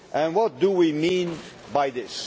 What do we mean by this?